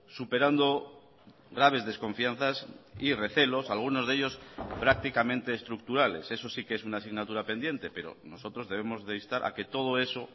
superando graves desconfianzas y recelos algunos de ellos prácticamente estructurales eso sí que es una asignatura pendiente pero nosotros debemos de instar a que todo eso